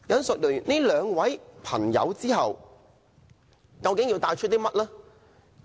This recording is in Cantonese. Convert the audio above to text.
說畢這兩位人士後，我究竟要帶出甚麼信息？